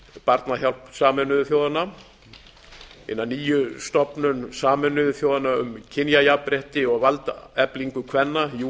barnahjálp sameinuðu þjóðanna hina ná stofnun sameinuðu þjóðanna um kynjajafnrétti og valdeflingu kvenna new